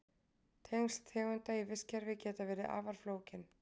Tengsl tegunda í vistkerfi geta verið afar flókin.